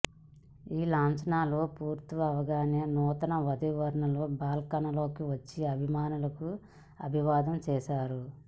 ఈ లాంఛనాలు పూర్తవగానే నూతన వధూవరులు బాల్కనీలోకి వచ్చి అభిమానులకు అభివాదం చేశారు